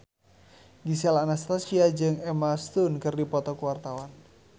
Gisel Anastasia jeung Emma Stone keur dipoto ku wartawan